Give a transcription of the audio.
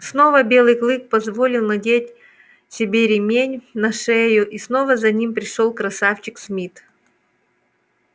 снова белый клык позволил надеть себе ремень на шею и снова за ним пришёл красавчик смит